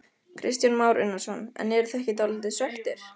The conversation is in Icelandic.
Kristján Már Unnarsson: En eruð þið ekki dálítið svekktir?